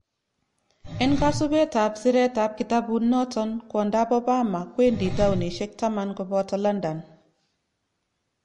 Enkosibet tab siretab kitabut noton kwondap Obama kwendi townishek 10 koboto London.